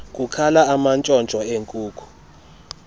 kukhala amantshontsho enkuku